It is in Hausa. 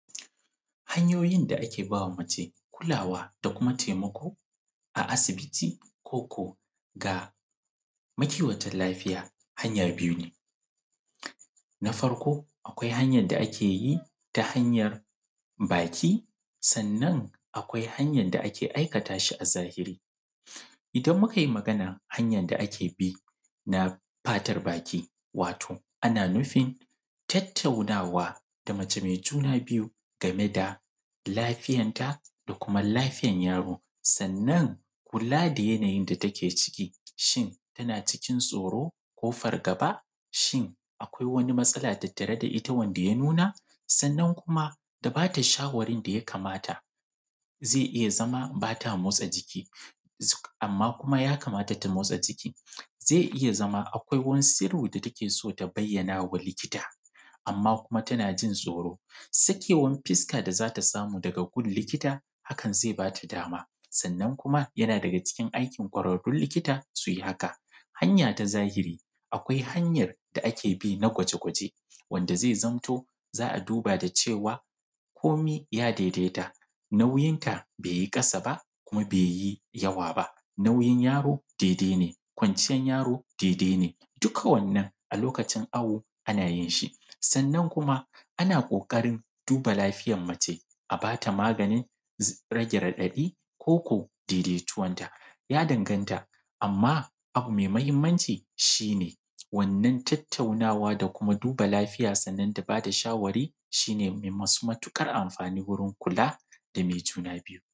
Hanyoyin da ake ba wa mace kulawa ko taimako a asibiti koko mataimakan lafiya hanya biyu ne, na farko akwai hanyan da ake yi ta hanyan baki sannan akwai hanyan da ake aikata shi na sariri. Ita mukai magana hanyan da ake bi na fatar baki, wato ana nufin tattaunawa da mace me juna biyu game da lafiyar ta da kuma lafiyan yaro. Sannan kula da yanayin da take ciki, shin tana cikin tsoro ko fargaba, shin akwai wani matsala tattare da ita wanda ya nuna sannan kuma da bata shawarin da ya kamata ze iya zama ba ta motsa jiki. Amma kuma ya kamata ta motsa jiki kuma ze iya zama akwai wasu abu da take so ta bayyana ma likita amma kuma tana jin tsoro. Sakewan fuska da za ta samu daga wurin likita hakan ze ba ta dama sannan kuma yana daga ciki aikin kwararrun likita su yi haka. Hanya na zahiri akwai hanyan da ake bi domin gwaji wanda ze zamto za a duba da ciwo ba komi ya daidaita, nauyin ta be yi ƙasa ba kuma be yi yawa ba, kuma nau’yin yaro daidai ne, baccin yaro daidai ne duka wannan a lokacin yana yanayin shi sannan kuma na ƙoƙarin duba cikin lafiyar mace a ba ta maganin birge raɗaɗi koko daidaituwan ta ya danganta, amma abu me mahinmaci shi ne wannan tattaunawa da duba lafiyarsa da bada shawari su ne me matuƙar amfani wurin kula da me juna biyu.